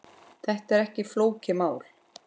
Þetta er ekki flókið mál.